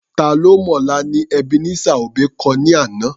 Ta ló mọ̀la ni Ebenezer Obey kọ ní àná.